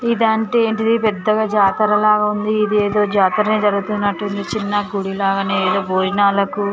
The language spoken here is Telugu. ఇదంటే ఏంటిది పెద్దగా జాతర లాగా ఉంది ఇది ఏదో జాతరనే జరుగుతున్నట్టుంది చిన్న గుడి లాగానే ఏదో భోజనాలకు.